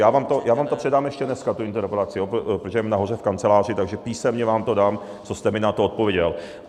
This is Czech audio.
Já vám to předám ještě dneska, tu interpelaci, protože ji mám nahoře v kanceláři, takže písemně vám to dám, co jste mi na to odpověděl.